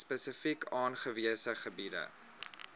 spesifiek aangewese gebiede